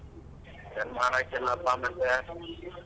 ಏನ್ ಮಾಡಕಿಲ್ಲ ಪಾ ಮತ್ತೆ.